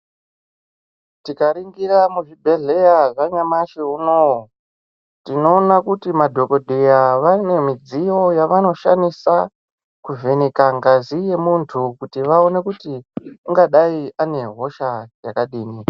Tikaringira muzvibhedhlera zvanyamashi unowu tinoona kuti madhokodheya vanemudziyo yavanoshandisa kuvheneka ngazi yemuntu kuti vaone kuti ungadai anehosha yakadini .